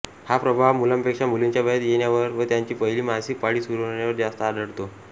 हा प्रभाव मुलांपेक्षा मुलींच्या वयात येण्यावर व त्यांची पहिली मासिक पाळी सुरू होण्यावर जास्त आढळतो